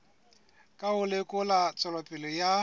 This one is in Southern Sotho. ka ho lekola tswelopele ya